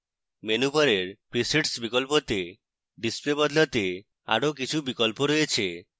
menu bar presets বিকল্পতে display বদলাতে আরো কিছু বিকল্প রয়েছে